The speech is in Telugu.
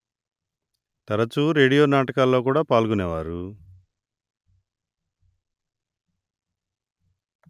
తరచూ రేడియో నాటకాల్లో కూడా పాల్గొనేవారు